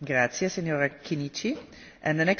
Zmena klímy ohrozuje celú planétu.